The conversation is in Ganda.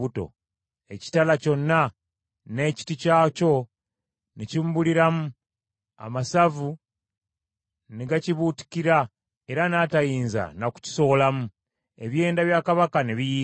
ekitala kyonna n’ekiti kyakyo ne kimubuliramu, amasavu ne gakibuutikira era n’atayinza na kukisowolamu. Ebyenda bya kabaka ne biyiika.